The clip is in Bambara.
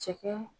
Cɛkɛ